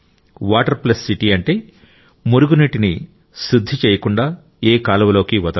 water plus city అంటే మురుగునీటిని శుద్ధి చేయకుండా ఏ కాలువలోకీ వదలరు